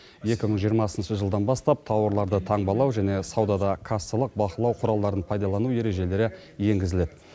екі мың жиырмасыншы жылдан бастап тауарларды таңбалау және саудада кассалық бақылау құралдарын пайдалану ережелері енгізіледі